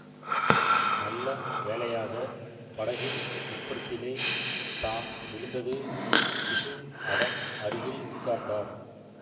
நல்ல வேளையாக படகின் உட்புறத்திலே தான் விழுந்தது பிக்ஷு அதன் அருகில் உட்கார்ந்தார்